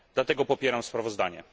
Dlatego popieram to sprawozdanie.